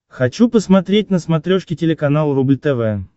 хочу посмотреть на смотрешке телеканал рубль тв